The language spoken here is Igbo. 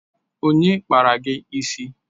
Onye kpara gị isi?